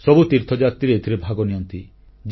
ସବୁ ତୀର୍ଥଯାତ୍ରୀ ଏଥିରେ ଭାଗନିଅନ୍ତି